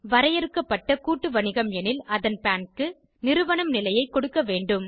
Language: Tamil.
வரையறுக்கப்பட்ட கூட்டு வணிகம் எனில் அந்த பான் க்கு நிறுவனம் நிலையை கொடுக்க வேண்டும்